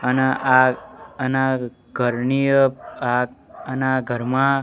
આના આ આના ઘરની અ આ આના ઘરમાં--